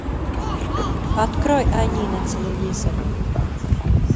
открой они на телевизоре